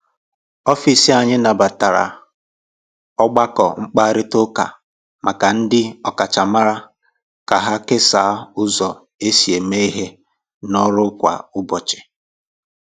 Ọfịs anyị nabatara ọgbakọ mkparịta ụka maka ndị ọkachamara ka ha kesaa ụzọ e si eme ihe n’ọrụ kwa ụbọchị.